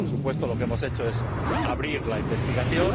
Por supuesto, lo que hemos hecho es abrir la investigación.